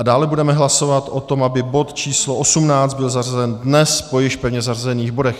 A dále budeme hlasovat o tom, aby bod číslo 18 byl zařazen dnes po již pevně zařazených bodech.